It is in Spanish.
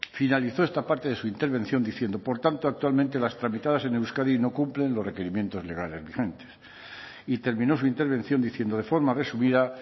finalizó esta parte de su intervención diciendo por tanto actualmente las tramitadas en euskadi no cumplen los requerimientos legales vigentes y terminó su intervención diciendo de forma resumida